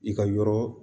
I ka yɔrɔ